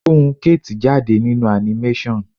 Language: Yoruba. Ohùn kate jáde nínú animation.